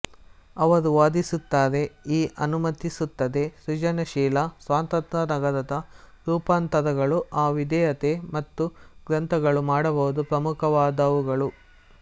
ಅವರು ವಾದಿಸುತ್ತಾರೆ ಈ ಅನುಮತಿಸುತ್ತದೆ ಸೃಜನಶೀಲ ಸ್ವಾತಂತ್ರ್ಯ ನಂತರದ ರೂಪಾಂತರಗಳು ಆ ವಿಧೇಯತೆ ಮತ್ತು ಗ್ರಂಥಗಳು ಮಾಡಬಹುದು ಪ್ರಮುಖವಾದವುಗಳು